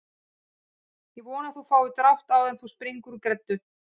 Ég vona að þú fáir drátt áður en þú springur úr greddu